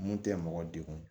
Mun tɛ mɔgɔ degun